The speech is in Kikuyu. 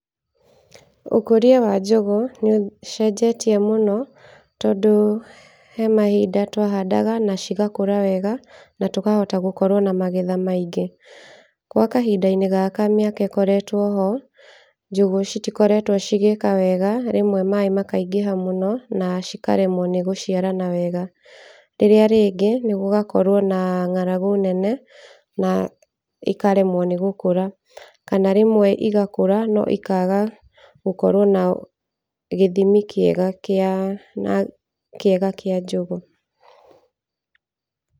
Ũkũria wa njũgũ nĩ ũcenjetie mũno tondũ he mahinda twahandaga na cigakũra wega , na tũkahota gũkorwo na magetha maingĩ, gwa kahinda-inĩ gaka mĩaka ĩkoretwo ho njũgũ citikoretwo cigĩĩka wega , rĩmwe maaĩ makaingĩha mũno na cikaremwo nĩ gũciarana wega, rĩrĩa rĩngĩ nĩ gũgakorwo na ng'aragu nene na ikaremwo nĩ gũkũra , kana rĩmwe igakũra no ikaga gũkorwo na gĩthimi kĩega kĩa kĩa njũgũ.